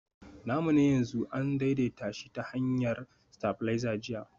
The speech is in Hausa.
namu na yanzu an daidaita shi ta hanyar stabilizer jiya